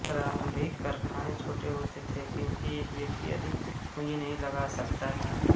प्रारंभिक कारखाने छोटे होते थे क्योंकि एक व्यक्ति अधिक पूँजी नहीं लगा सकता था